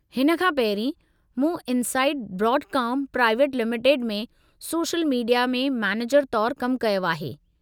हिन खां पहिरीं, मूं इनसाइट ब्रांडकॉम प्राइवेट लिमिटेड में सोशल मीडिया में मैनेजर तौरु कमु कयो आहे।